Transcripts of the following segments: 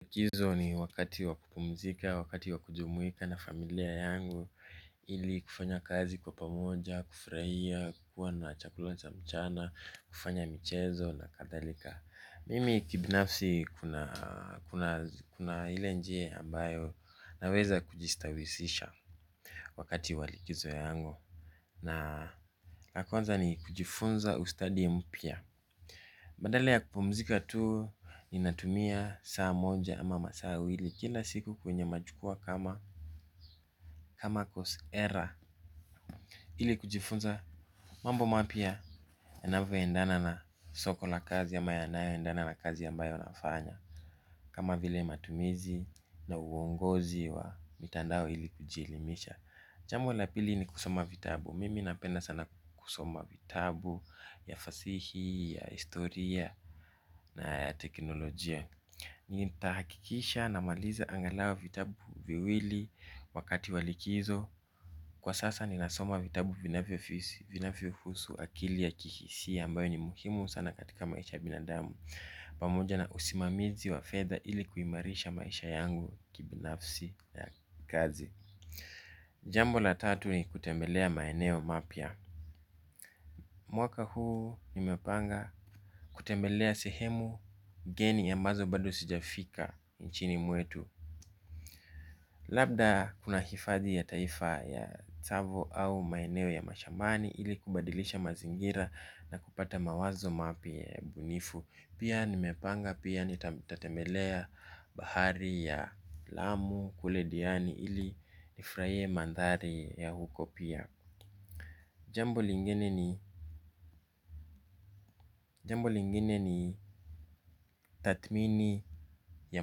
Likizo ni wakati wa kupumzika, wakati wa kujumuika na familia yangu. Ili kufanya kazi kwa pamoja, kufurahia, kuwa na chakula cha mchana, kufanya michezo na kadhalika. Mimi kibinafsi kuna ile njia ambayo naweza kujistawisisha wakati wa likizo yangu. Na la kwanza ni kujifunza ustadi mpya badala ya kupumzika tu ninatumia saa moja ama masaa wili. Kila siku kwenye majukuwaa kama kama cause era ili kujifunza mambo mapya yanavyoendana na soko la kazi ama yanayoendana na kazi ambayo nafanya. Kama vile matumizi na uongozi wa mitandao ili kujielimisha. Jambo la pili ni kusoma vitabu. Mimi napenda sana kusoma vitabu ya fasihi, ya historia na ya teknolojia. Nitahakikisha namaliza angalau vitabu viwili wakati wa likizo kwa sasa ninasoma vitabu vinavyohusu akili ya kihisia ambayo ni muhimu sana katika maisha ya binadamu pamoja na usimamizi wa fedha ili kuimarisha maisha yangu kibinafsi ya kazi jambo la tatu ni kutembelea maeneo mapya mwaka huu nimepanga kutembelea sehemu Geni ambazo bado sijafika nchini mwetu. Labda kuna hifadhi ya taifa ya tsavo au maeneo ya mashambani. Ili kubadilisha mazingira na kupata mawazo mapya ya ubunifu. Pia nimepanga pia nitatembelea bahari ya lamu kule diani. Ili nifurahie mandhari ya huko pia. Jambo lingine ni tathmini ya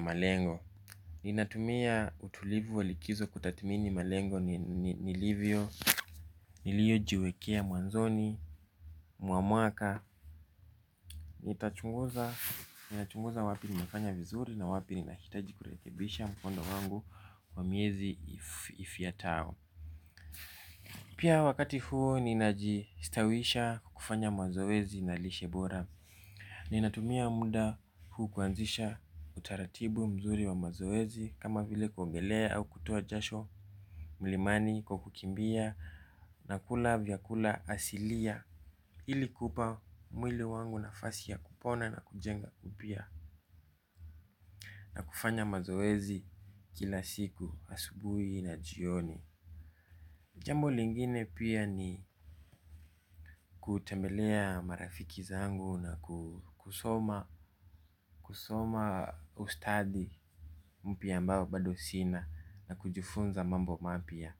malengo. Ninatumia utulivu wa likizo kutathmini malengo nilivyo. Niliyojiwekea mwanzoni, mwa mwaka. Ninachunguza wapi nimefanya vizuri na wapi ninahitaji kurekebisha mkondo wangu kwa miezi ifyatao. Pia wakati huo ninajistawisha kufanya mazoezi na lishe bora. Ninatumia muda huu kuanzisha utaratibu mzuri wa mazoezi. Kama vile kuogelea au kuoa jasho mlimani kwa kukimbia na kula vyakula asilia ili kupa mwili wangu nafasi ya kupona na kujenga upya na kufanya mazoezi kila siku asubuhi na jioni. Jambo lingine pia ni kutembelea marafiki zangu na kusoma ustadi mpya ambao bado sina na kujifunza mambo mapya.